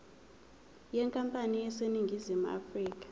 yenkampani eseningizimu afrika